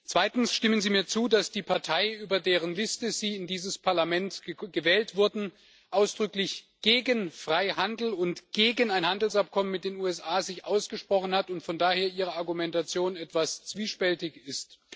Zweitens Stimmen Sie mir zu, dass sich die Partei, über deren Liste Sie in dieses Parlament gewählt wurden, ausdrücklich gegen Freihandel und gegen ein Handelsabkommen mit den USA ausgesprochen hat und Ihre Argumentation von daher etwas zwiespältig ist?